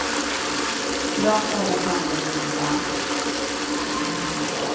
För dem ordnas sannerligen ingen dans.